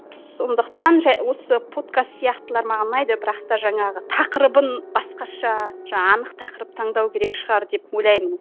сондықтан осы подкаст сияқтылар маған ұнайды бірақ та жаңағы тақырыбын басқаша жаңа анық тақырып таңдау керек шығар деп ойлаймын